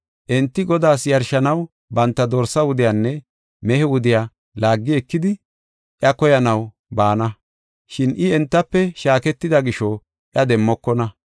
Enti Godaas yarshanaw banta dorsa wudiyanne mehe wudiya laagi ekidi iya koyanaw baana; shin I entafe shaaketida gisho iya demmokona.